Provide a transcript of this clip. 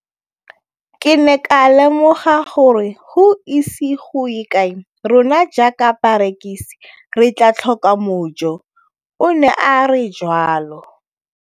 Ke ne ka lemoga gore go ise go ye kae rona jaaka barekise re tla tlhoka mojo, o ne a re jalo.